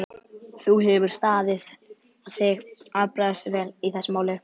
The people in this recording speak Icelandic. Þú hefur staðið þig afbragðsvel í þessu máli.